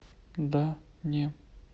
да не